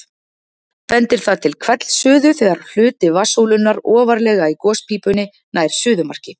Bendir það til hvellsuðu þegar hluti vatnssúlunnar ofarlega í gospípunni nær suðumarki.